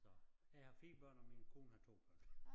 Så jeg har 4 børn og min kone har 2 børn